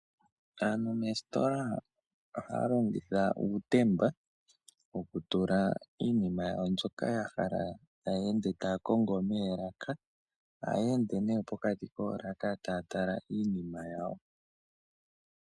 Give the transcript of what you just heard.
Aantu mesitola ohaya longitha uutemba wokutula iinima yawo mbwoka ya hala taya ende takongo meelaka, ohaya ende ne pokati kolaka tatala iinima yawo.